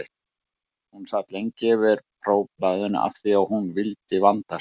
Hún sat lengi yfir prófblaðinu af því að hún vildi vanda sig.